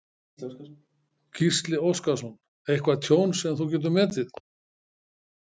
Gísli Óskarsson: Eitthvað tjón sem þú getur metið?